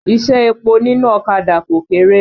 Iṣẹ́ epo nínú ọ̀kadà kò kéré.